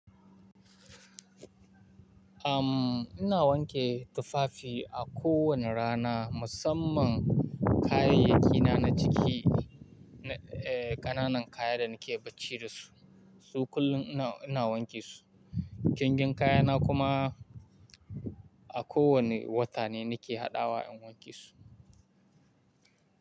Umm, ina wanke tufafi a kowane rana, musamman kayayyaki na na ciki, eh ƙananan kaya da nake bacci da su. Su kullum ina, ina wanke su. Jingin kaya na kuma a ko wane wata ne nake haɗawa in wanke su.